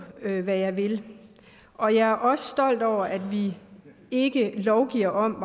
hvad jeg vil og jeg er også stolt over at vi ikke lovgiver om